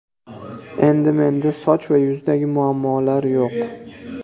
Endi menda soch va yuzdagi muammolar yo‘q!.